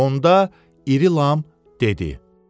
Onda İri Lam dedi: